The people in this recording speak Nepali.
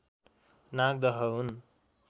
नागदह हुन्